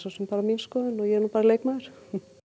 bara mín skoðun og ég er bara leikmaður